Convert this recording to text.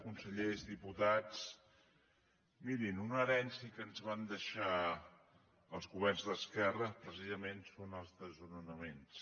consellers diputats mirin una herència que ens van deixar els governs d’esquerra precisament són els desnonaments